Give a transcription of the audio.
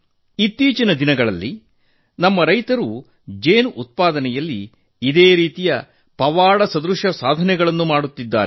ಇತ್ತೀಚಿನ ದಿನಗಳಲ್ಲಿ ನಮ್ಮ ರೈತರು ಜೇನು ಉತ್ಪಾದನೆಯಲ್ಲಿ ಇದೇ ರೀತಿಯ ಪವಾಡದಂತಹ ಸಾಧನೆ ಮಾಡುತ್ತಿದ್ದಾರೆ